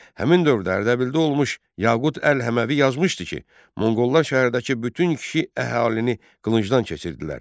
Həmin dövrdə Ərdəbildə olmuş Yaqut Əl Həməvi yazmışdı ki, Monqollar şəhərdəki bütün kişi əhalini qılıncdan keçirdilər.